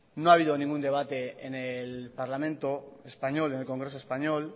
no ha habido ningún debate en el parlamento español en el congreso español